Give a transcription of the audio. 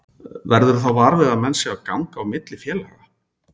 Verðurðu þá var við að menn séu að ganga á milli félaga?